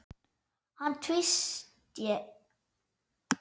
Hann tvísté.